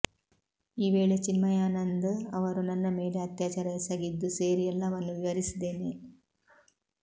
ಈ ವೇಳೆ ಚಿನ್ಮಯಾನಂದ್ ಅವರು ನನ್ನ ಮೇಲೆ ಅತ್ಯಾಚಾರ ಎಸಗಿದ್ದು ಸೇರಿ ಎಲ್ಲವನ್ನೂ ವಿವರಿಸಿದ್ದೇನೆ